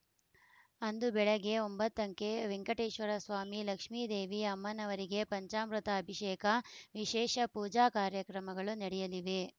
ಅಂದು ಬೆಳಗ್ಗೆ ಒಂಬತಂಕೆ ವೆಂಕಟೇಶ್ವರ ಸ್ವಾಮಿ ಲಕ್ಷ್ಮೀದೇವಿ ಅಮ್ಮನವರಿಗೆ ಪಂಚಾಮೃತ ಅಭಿಷೇಕ ವಿಶೇಷ ಪೂಜಾ ಕಾರ್ಯಕ್ರಮಗಳು ನಡೆಯಲಿವೆ